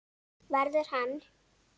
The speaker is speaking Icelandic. Verður hann.